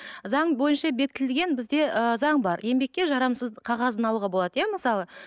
заң бойынша бекітілген бізде ы заң бар еңбекке жарамсыз қағазын алуға болады иә мысалы